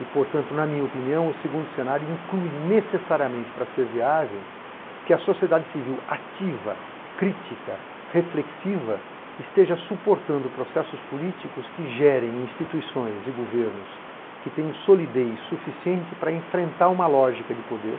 E, portanto, na minha opinião, o segundo cenário inclui necessariamente, para ser viável, que a sociedade civil ativa, crítica, reflexiva, esteja suportando processos políticos que gerem instituições e governos que tenham solidez suficiente para enfrentar uma lógica de poder